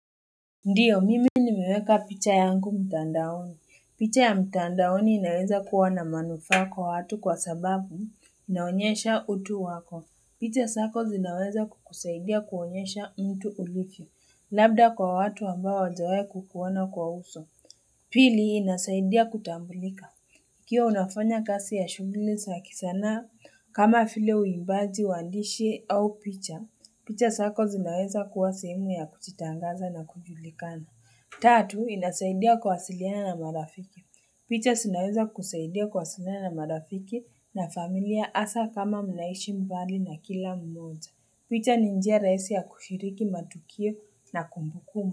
Ndio, mimi nimeweka picha yangu mtandaoni. Picha ya mtandaoni inaweza kuwa na manufaa kwa watu kwa sababu inaonyesha utu wako. Picha zako zinaweza kukusaidia kuonyesha mtu ulivyo. Labda kwa watu ambao hawajawahi kukuoana kwa uso. Pili, inasaidia kutambulika. Ikiwa unafanya kazi ya shughuli za kisanaa kama vile huimbaji, uandishi au picha picha zako zinaweza kuwa sehemu ya kujitangaza na kujulikana. Tatu, inasaidia kuwasiliana na marafiki. Picha zinaweza kukusaidia kuwasiliana na marafiki na familia hasa kama mnaishi mbali na kila mmoja. Picha ni njia rahisi ya kushiriki matukio na kumbukumu.